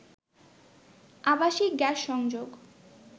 আবাসিক গ্যাস সংযোগ